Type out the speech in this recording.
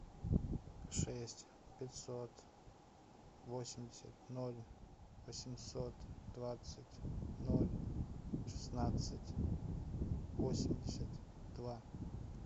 шесть пятьсот восемьдесят ноль восемьсот двадцать ноль шестнадцать восемьдесят два